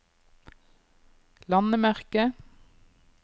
landemerke